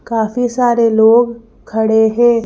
काफी सारे लोग खड़े हैं ।